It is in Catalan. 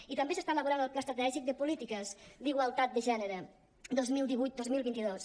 i també s’està elaborant el pla estratègic de polítiques d’igualtat de gènere dos mil divuit dos mil vint dos